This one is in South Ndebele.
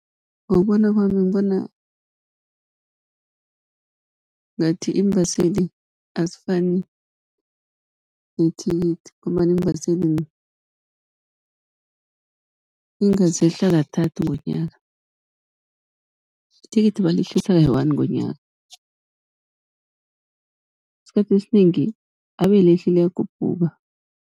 Ngokubona kwami ngibona ngathi iimbaseli azifani nethikithi, ngombana iimbaseli inga zehla kathathu ngonyaka, ithikithi balehlisa kayi-one ngonyaka. Esikhathini esinengi abe alehli, liyakhuphuka.